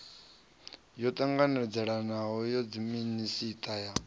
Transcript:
yo ṱanganelanaho ya dziminisiṱa ya